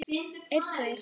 Hvorugt er lengur stutt.